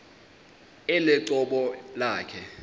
elo cebo lakhe